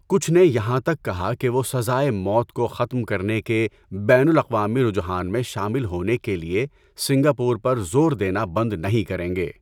کچھ نے یہاں تک کہا کہ وہ سزائے موت کو ختم کرنے کے بین الاقوامی رجحان میں شامل ہونے کے لیے سنگاپور پر زور دینا بند نہیں کریں گے۔